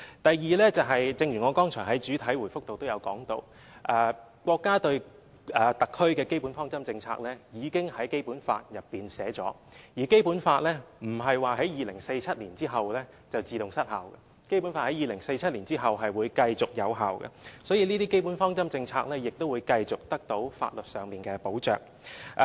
第二，正如我剛才在主體答覆內也指出，國家對特區的基本方針政策已經在《基本法》內訂明，而《基本法》不會在2047年後便自動失效，而是會在2047年後繼續有效的，所以，這些基本方針政策亦會繼續得到法律上的保障。